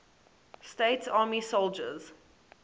states army soldiers